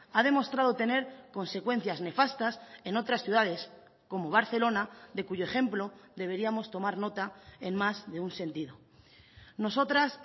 ha demostrado tener consecuencias nefastas en otras ciudades como barcelona de cuyo ejemplo deberíamos tomar nota en más de un sentido nosotras